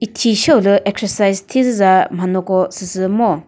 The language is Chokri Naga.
thi sheo lü exercise thiza manyoko süsü ngo.